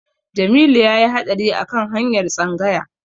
Jamilu ya yi haɗari a kan hanyar Tsanyawa.